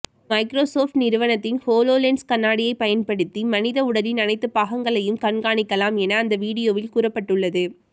Microsoft நிறுவனத்தின் HoloLens கண்ணாடியை பயன்படுத்தி மனித உடலின் அனைத்து பாகங்களையும் கண்காணிக்கலாம் என அந்த வீடியோவில் கூறப்பட்டுள்ளது